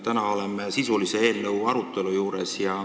Täna me oleme eelnõu sisulise arutelu juures.